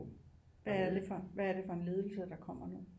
Hvad er det for en ledelse der kommer nu